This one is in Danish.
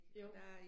Jo